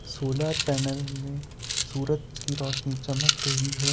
Solar panel में सूरज की रोशनी चमक रही है।